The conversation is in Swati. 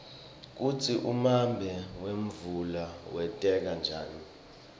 kutsi umbane wemvula wenteka njani